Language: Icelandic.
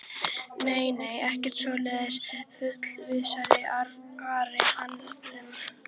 Nei, nei, ekkert svoleiðis fullvissaði Ari hann um.